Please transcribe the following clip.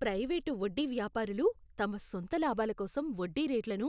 private వడ్డీవ్యాపారులు తమ సొంత లాభాల కోసం వడ్డీ రేట్లను